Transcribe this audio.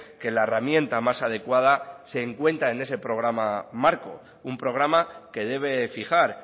que la herramienta más adecuada se encuentra en ese programa marco un programa que debe fijar